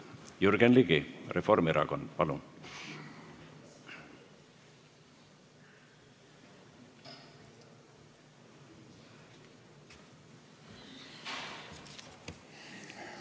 Jürgen Ligi, Reformierakond, palun!